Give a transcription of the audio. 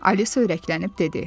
Alisa ürəklənib dedi.